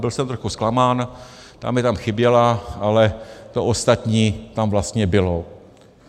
Byl jsem trošku zklamán, ta mi tam chyběla, ale to ostatní tam vlastně bylo.